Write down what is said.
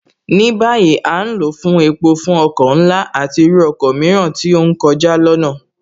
Ní báyìí, À ń lò ó fún epo fún ọkọ̀ ńlá, àti irú ọkọ mìíràn tí ó ń kọjá lọnáà